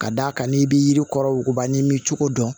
Ka d'a kan n'i bɛ yiri kɔrɔ woba n'i m'i cogo dɔn